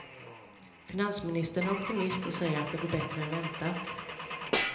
Finansministern är optimist och säger att det går bättre än väntat.